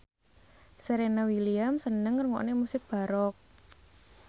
Serena Williams seneng ngrungokne musik baroque